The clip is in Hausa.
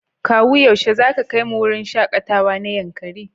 Kawu yaushe zaka kaimu wurin shakatawa na Yankari?